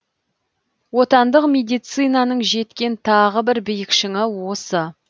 отандық медицинаның жеткен тағы бір биік шыңы осы